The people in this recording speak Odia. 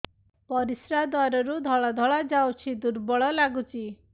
ପରିଶ୍ରା ଦ୍ୱାର ରୁ ଧଳା ଧଳା ଯାଉଚି ଦୁର୍ବଳ ଲାଗୁଚି